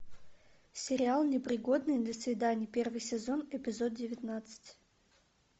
сериал непригодный для свиданий первый сезон эпизод девятнадцать